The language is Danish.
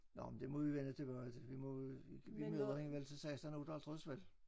Nåh men det må vi vende tilbage til vi må vi møder hende vel til 16 58 vel